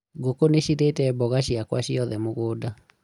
ngũkũ nicirĩte mboga ciakwa ciothe mũgũnda